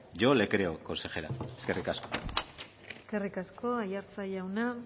yo le creo consejera eskerrik asko eskerrik asko aiartza jauna